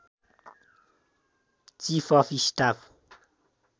chief of staff